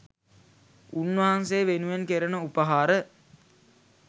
උන්වහන්සේ වෙනුවෙන් කෙරෙන උපහාර